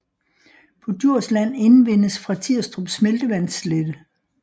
På Djursland indvindes fra Tirstrup smeltevandsslette